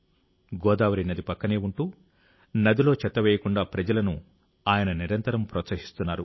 గోదావరి నది పక్కనే ఉంటూ నదిలో చెత్త వేయకుండా ప్రజలను ఆయన నిరంతరం ప్రోత్సహిస్తున్నారు